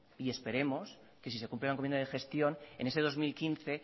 y esperemos que si se cumple la encomienda de gestión en ese dos mil quince